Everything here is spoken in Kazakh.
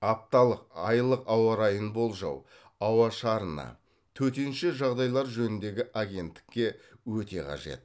апталық айлық ауа райын болжау ауа шарына төтенше жағдайлар жөніндегі агенттікке өте қажет